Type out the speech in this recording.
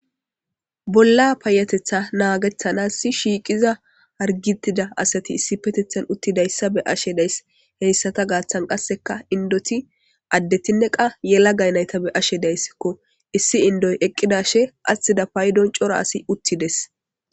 Bolla payetetha naganasi shiqetida harigetida asati issipetethani utidayisa beyashe dayisi, hayisata gathani qassika indoti adetine yalagayalaga nayita qase beyashe dayisiko issi indoyi eqa dashe atidda coora asayi utidesi